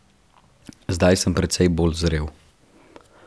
Zdaj sem precej bolj zrel.